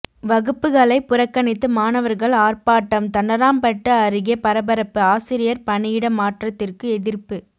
வகுப்புகளை புறக்கணித்து மாணவர்கள் ஆர்ப்பாட்டம் தண்டராம்பட்டு அருகே பரபரப்பு ஆசிரியர் பணியிட மாற்றத்திற்கு எதிர்ப்பு